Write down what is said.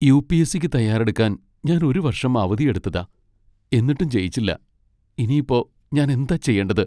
U. P. S. സിക്ക് തയ്യാറെടുക്കാൻ ഞാൻ ഒരു വർഷം അവധിയെടുത്തെതാ എന്നിട്ടും ജയിച്ചില്ല. ഇനി ഇപ്പോ ഞാൻ എന്താ ചെയ്യേണ്ടത്?